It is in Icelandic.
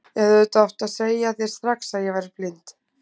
Ég hefði auðvitað átt að segja þér strax að ég væri blind.